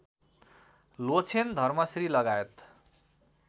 लोछेन धर्मश्री लगायत